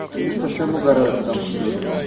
они совсем огород там что-ли